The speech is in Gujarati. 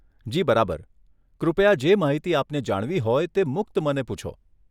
જી બરાબર, કૃપયા જે માહિતી આપને જાણવી હોય તે મુક્ત મને પૂછો.